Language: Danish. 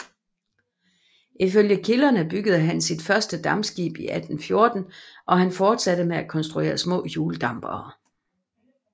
I følge kilderne byggede han sit første dampskib i 1814 og han fortsatte med at konstruere små hjuldampere